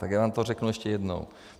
Tak já vám to řeknu ještě jednou.